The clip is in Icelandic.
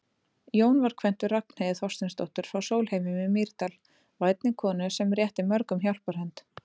Jón var kvæntur Ragnheiði Þorsteinsdóttur frá Sólheimum í Mýrdal, vænni konu sem rétti mörgum hjálparhönd.